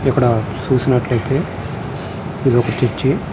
ఇక్కడ చూసినట్లయితే ఇది ఒక చర్చి .